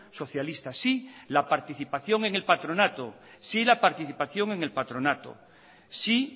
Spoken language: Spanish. socialista sí la participación en el patronato sí